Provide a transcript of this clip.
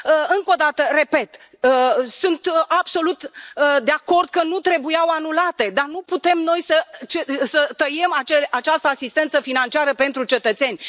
Încă o dată, repet sunt absolut de acord că nu trebuiau anulate, dar nu putem noi să tăiem această asistență financiară pentru cetățeni.